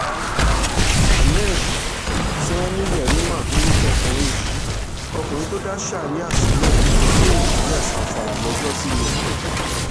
ahmed sanni yerima lorúkọ ọkùnrin yìí ọkùnrin tó dá sharia sílẹ̀ ní ìpínlẹ̀ zamfara lọ́jọ́sí ni